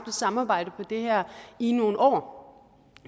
samarbejde på det her i nogle år